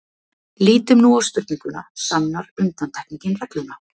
Lítum nú á spurninguna: sannar undantekningin regluna?.